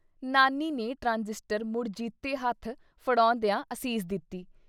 ਨਾਨੀ ਨੇ ਟਰਾਂਜਿਸਟਰ ਮੁੜ ਜੀਤੇ ਹੱਥ ਫੜੋਂਦਿਆਂ ਅਸੀਸ ਦਿੱਤੀ।